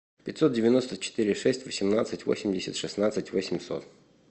пятьсот девяносто четыре шесть восемнадцать восемьдесят шестнадцать восемьсот